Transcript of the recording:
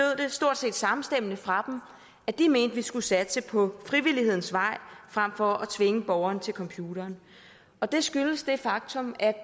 stort set samstemmende fra dem at de mente vi skulle satse på frivillighedens vej frem for at tvinge borgerne til computeren og det skyldes det faktum at